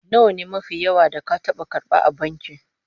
Nawa ne kudi mafi yawa da ka taba karba a banki?